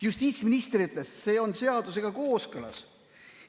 Justiitsminister ütles: see on seadusega kooskõlas.